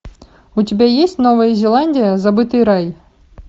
у тебя есть новая зеландия забытый рай